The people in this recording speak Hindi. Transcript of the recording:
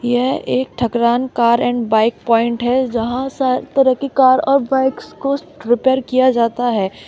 यह एक Thakran car and bike point है जहां पर हर तरह की कार और बाइक को रिपेयर किया जाता है।